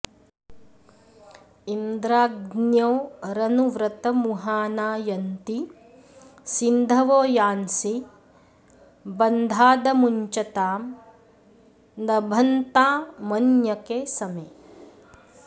इ॒न्द्रा॒ग्न्योरनु॑ व्र॒तमुहा॑ना यन्ति॒ सिन्ध॑वो॒ यान्सीं॑ ब॒न्धादमु॑ञ्चतां॒ नभ॑न्तामन्य॒के स॑मे